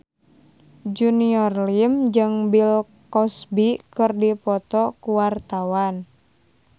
Junior Liem jeung Bill Cosby keur dipoto ku wartawan